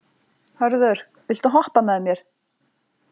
Hörður, viltu hoppa með mér?